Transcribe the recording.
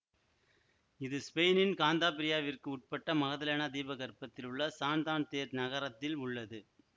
இது ஸ்பெயினின் காந்தாபிரியாவிற்கு உட்பட்ட மகதலேனா தீபகற்பத்தில் உள்ள சான்தான்தேர் நகரத்தில் உள்ளது